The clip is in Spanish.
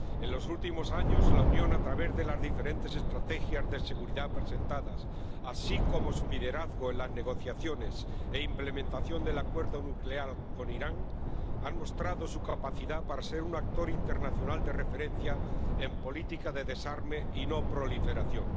En los últimos años, la Unión, a través de las diferentes estrategias de seguridad presentadas, así como de su liderazgo en las negociaciones e implementación del acuerdo nuclear con Irán, ha mostrado su capacidad para ser un actor internacional de referencia en políticas de desarme y no proliferación.